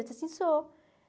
Eu disse, assim, sou.